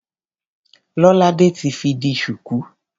Lolade ti fi di ṣùkú.